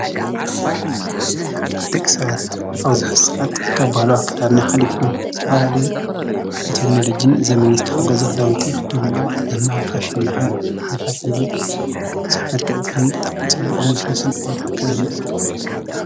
ድቕሳት ኣውዝሕሳዓት ካብ ብሃሉ ኣከዳርና ኃሊፉ ተመላለየ ብቴግኔሎጅን ዘመንስተ ሓጐዘኽዳውንቲ ኽደኑዮም ይልማብፋሽን በሃል ዚፈልልንዙይ ምዙኅመልቀዕ ዘይምን ብጥዕ ጽብቕ ንስሉስን ኣየትኣከደናእዩ።